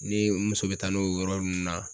Ni n muso bɛ taa n'o o yɔrɔ nun na